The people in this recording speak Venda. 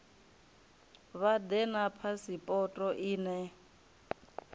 vha ḓe na phasipoto ine